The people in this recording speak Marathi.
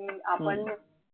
कि आपण